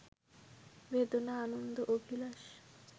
বেদনা-আনন্দ-অভিলাষ